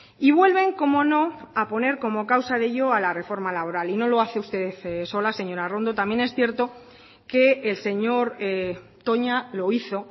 y vuelven cómo no a poner como causa de ello a la reforma laboral y no lo hace usted sola señora arrondo también es cierto que el señor toña lo hizo